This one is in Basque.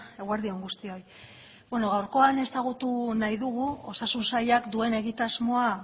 eguerdi on guztioi bueno gaurkoan ezagutu nahi dugu osasun sailak duen egitasmoa